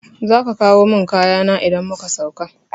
Zaka kawo mun kayana idan muka sauka